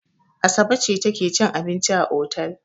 Asabe ce take cin abinci a otel.